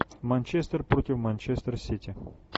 манчестер против манчестер сити